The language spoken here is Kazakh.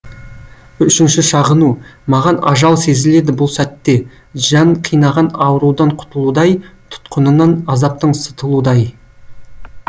үшінші шағыну маған ажал сезіледі бұл сәтте жан қинаған аурудан құтылудай тұтқынынан азаптың сытылудай